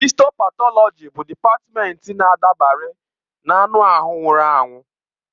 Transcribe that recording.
Histo patọlọji bụ dịpatmenti na-adabere na anụ ahụ nwụrụ anwụ.